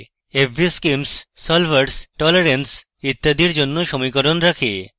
fvschemes solvers tolerance ইত্যাদির জন্য সমীকরণ রাখে